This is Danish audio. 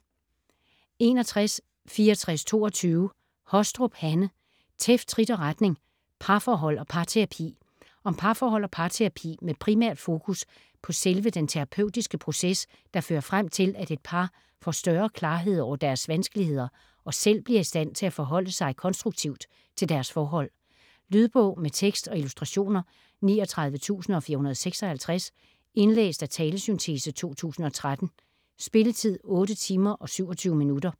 61.6422 Hostrup, Hanne: Tæft, trit og retning: parforhold og parterapi Om parforhold og parterapi med primært fokus på selve den terapeutiske proces, der fører frem til, at et par får større klarhed over deres vanskeligheder og selv bliver i stand til at forholde sig konstruktivt til deres forhold. Lydbog med tekst og illustrationer 39456 Indlæst af talesyntese, 2013. Spilletid: 8 timer, 27 minutter.